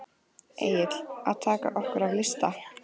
Egill: Að taka okkur af lista?